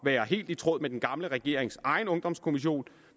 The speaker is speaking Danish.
være helt i tråd med den gamle regerings egen ungdomskommission